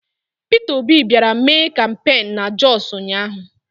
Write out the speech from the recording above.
Pita Obi bịara mee kampain na Jọsụ ụnyaahụ.